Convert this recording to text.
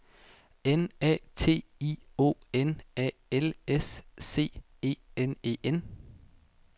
N A T I O N A L S C E N E N